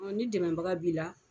Ni dɛmɛbaga b'i la